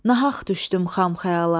Nahaq düşdün xam xəyala.